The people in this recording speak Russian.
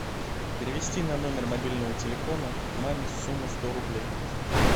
перевести на номер мобильного телефона маме сумму сто рублей